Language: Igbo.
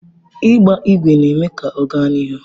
Ịgba ígwè na-eme ka ọ gaa n'ihu.